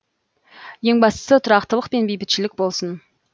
ең бастысы тұрақтылық пен бейбітшілік болсын